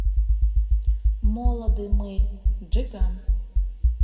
молоды мы джиган